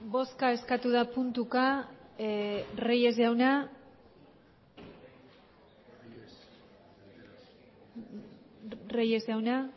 bozka eskatu da puntuka reyes jauna reyes jauna